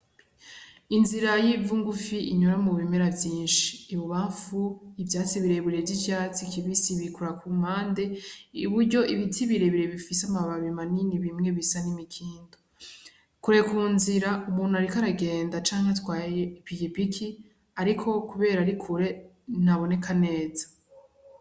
Inzira y'ivaungufi inyora mu bimera vyinshi ibubamfu ivyatsi bireburej'ivyatsi kibisi bikura ku mande i buryo ibiti birebire bifise amababi maningi bimwe bisa n'imikindo kure ku nzira umuntu, ariko aragenda canke twaye ipigipiki, ariko, kubera ri kure nabonee kaneza.